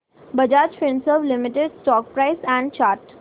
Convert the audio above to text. Bajaj Finserv limited stock price and chart